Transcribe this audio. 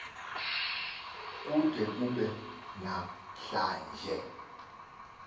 kude kube namhlanje